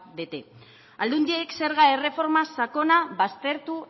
bete alduendiek zerga erreforma sakona baztertu